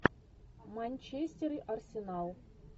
манчестер и арсенал